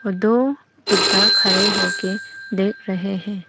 और दो बुड्ढा खड़े होके देख रहे हैं।